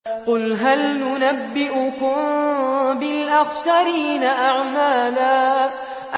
قُلْ هَلْ نُنَبِّئُكُم بِالْأَخْسَرِينَ أَعْمَالًا